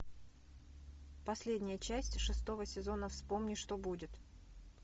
последняя часть шестого сезона вспомни что будет